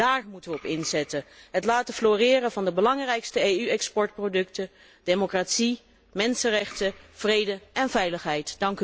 Daar moeten wij op inzetten, het laten floreren van de belangrijkste EU exportproducten, democratie, mensenrechten, vrede en veiligheid.